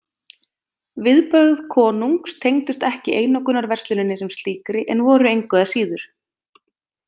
Viðbrögð konungs tengdust ekki einokunarversluninni sem slíkri en voru engu að síður.